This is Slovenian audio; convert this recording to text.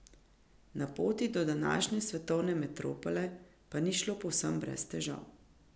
Na poti do današnje svetovne metropole pa ni šlo povsem brez težav.